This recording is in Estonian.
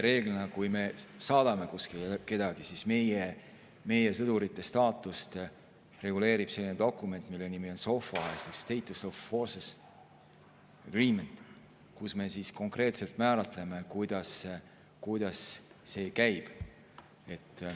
Reeglina, kui me kedagi kuskile saadame, reguleerib meie sõdurite staatust dokument, mille nimi on SOFA ehk Status of Forces Agreement, kus me konkreetselt määratleme, kuidas see käib.